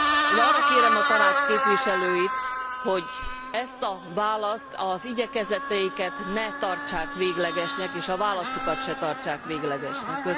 Én arra kérem a Tanács képviselőit, hogy ezt a választ, az igyekezeteiket ne tartsák véglegesnek, és a válaszukat se tartsák véglegesnek.